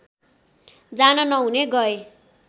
जान नहुने गए